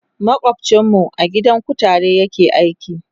makwancin mu a gidan kutare yake aiki